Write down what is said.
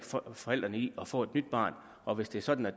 forældrene i at få et nyt barn og hvis det er sådan at